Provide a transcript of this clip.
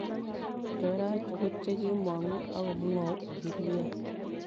cho racho ko che kimongu ak kumwou agilyot